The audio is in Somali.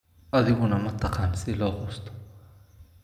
Adiguna ma taqaan sida loo quusto?